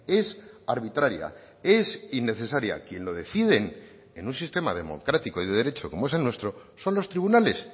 es arbitraria es innecesaria quien lo deciden en un sistema democrático y de derecho como es el nuestro son los tribunales